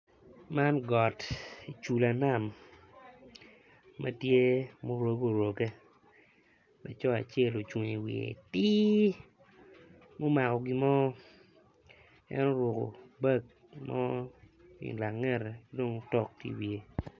Man got cula nam matye ma oruge oruke lalco acel ocungo i wiye atir gumako gimo en oruko bag mo ilangere kidok tok tye i wiye.